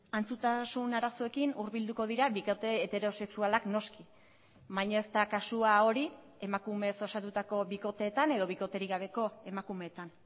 antzutasun arazoekin hurbilduko dira bikote heterosexualak noski baina ez da kasua hori emakumeez osatutako bikoteetan edo bikoterik gabeko emakumeetan